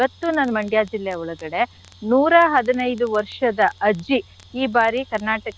ಇವತ್ತು ನನ್ Mandya ಜಿಲ್ಲೆ ಒಳಗಡೆ ನೂರ ಹದಿನೈದು ವರ್ಷದ ಅಜ್ಜಿ ಈ ಬಾರಿ Karnataka .